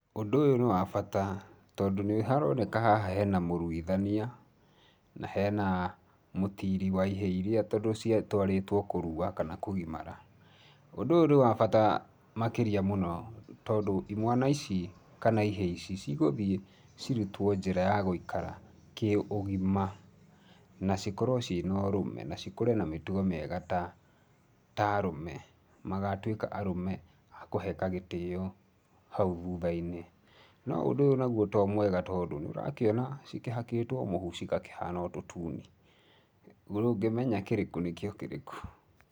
Ũndũ ũyũ nĩ wa bata tondũ nĩ haroneka haha hena mũruithania na hena mũtiri wa ihĩĩ iria tondũ citwarĩtwo kũrua kana kũgimara. Ũndũ ũyũ nĩ wa bata makĩria mũno tondũ imwana ici kana ihĩĩ ici cigũthiĩ cirutwo njĩra ya gũikara kĩũgima na cikorwo ci na ũrũme na cikũre cina mĩtugo mĩega ta arũme magatwika arũme a kũheka gĩtĩo hau thutha-inĩ. No ũndũ ũyũ naguo to mwega tondũ nĩũrakĩona cikĩhaĩtwo mũhu cigakĩhana o tũtuni, ndũngĩmenya kĩrĩkũ nĩ kĩo kĩrĩkũ.